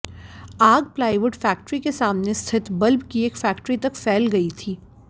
आग plywood factory के सामने स्थित बल्ब की एक फैक्ट्री तक फैल गई थी